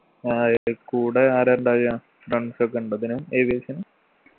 ആ ഇടെ കൂടെ ആരാ ഇണ്ടാഅ friends ഒക്കെ ഇണ്ടാ ഇതിന് aviation ന്